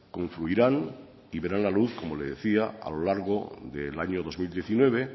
confluirán y verán la luz como le decía a lo largo del año dos mil diecinueve